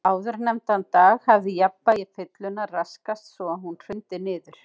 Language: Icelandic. Áðurnefndan dag hafði jafnvægi fyllunnar raskast svo að hún hrundi niður.